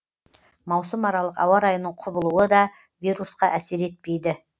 маусымаралық ауа райының құбылуы да вирусқа әсер етпейді